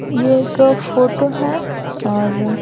यह एक फोटो है और --